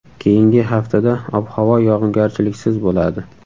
Keyingi haftada ob-havo yog‘ingarchiliksiz bo‘ladi.